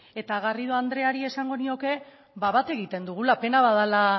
eta garrido andreari esango nioke bat egiten dugula pena bat dela